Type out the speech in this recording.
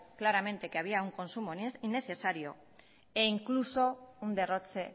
claramente que había un consumo innecesario e incluso un derroche